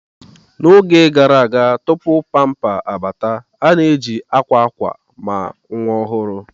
N'oge gara aga tupu pamper abata, a na-eji akwa akwa maka nwa ọhụrụ.